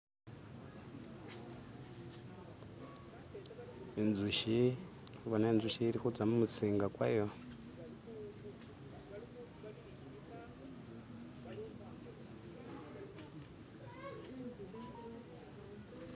inzushi, ndikubona inzushi ilikuza mumusinga kwayo